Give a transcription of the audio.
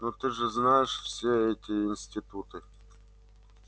но ты же знаешь все эти институты